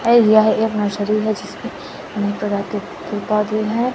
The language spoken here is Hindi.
अ यह एक नर्सरी है जिसमें अनेक प्रकार के पेड़ पौधे हैं।